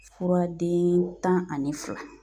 Fura den tan ani fila.